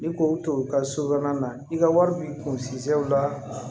Ni k'o to i ka so kɔnɔna na i ka wari b'i kun sɛw la